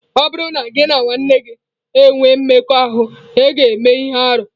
Ọ bụrụ na gị na nwanne gị enwee mmekọahụ, ị ​​ga-eme ihe arụ.